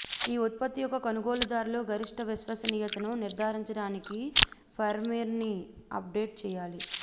ఈ ఉత్పత్తి యొక్క కొనుగోలుదారులు గరిష్ట విశ్వసనీయతను నిర్ధారించడానికి ఫర్మ్వేర్ని అప్గ్రేడ్ చేయాలి